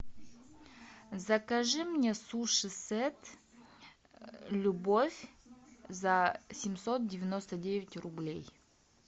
закажи мне суши сет любовь за семьсот девяносто девять рублей